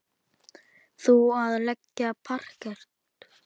Þú að leggja parket.